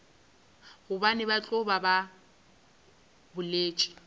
gobane ba tloga ba boletše